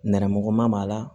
Nɛrɛmuguman b'a la